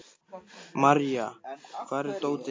Marja, hvar er dótið mitt?